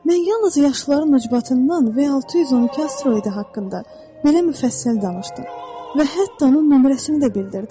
Mən yalnız yaşlıların üzbatından V-612 asteroidi haqqında belə müfəssəl danışdım və hətta onun nömrəsini də bildirdim.